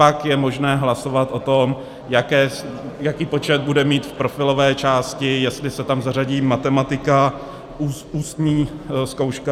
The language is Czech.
Pak je možné hlasovat o tom, jaký počet bude mít v profilové části, jestli se tam zařadí matematika, ústní zkouška.